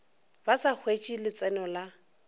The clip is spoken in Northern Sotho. ba sa hwetše letseno la